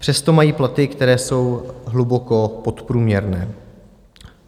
Přesto mají platy, které jsou hluboko podprůměrné.